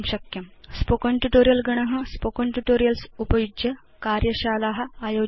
spoken tutorial गण spoken tutorials उपयुज्य कार्यशाला आयोजयति